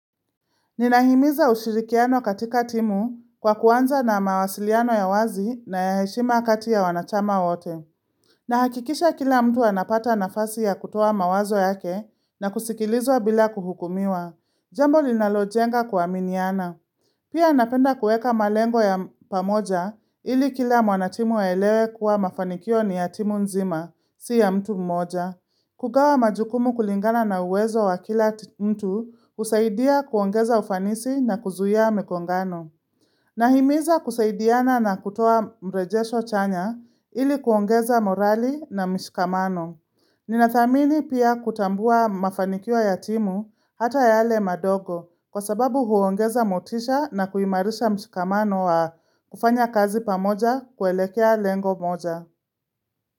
Ninahimiza ushirikiano katika timu kwa kuanza na mawasiliano ya wazi na ya heshima kati ya wanachama wote. Nahakikisha kila mtu anapata nafasi ya kutoa mawazo yake na kusikilizwa bila kuhukumiwa. Jambo linalojenga kuaminiana. Pia napenda kueka malengo ya pamoja ili kila mwanatimu aelewe kuwa mafanikio ni ya timu nzima, si ya mtu mmoja. Kugawa majukumu kulingana na uwezo wa kila mtu husaidia kuongeza ufanisi na kuzuia migongano. Nahimiza kusaidiana na kutoa mrejesho chanya ili kuongeza morali na mshikamano. Ninathamini pia kutambua mafanikio ya timu hata yale madogo kwa sababu huongeza motisha na kuimarisha mshikamano wa kufanya kazi pamoja kuelekea lengo moja.